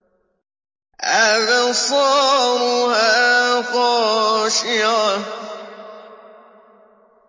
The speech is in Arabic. أَبْصَارُهَا خَاشِعَةٌ